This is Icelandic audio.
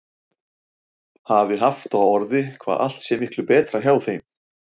Hafi haft á orði hvað allt sé miklu betra hjá þeim.